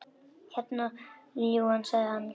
Hérna, ljúfan, sagði hann.